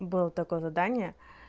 было такое задание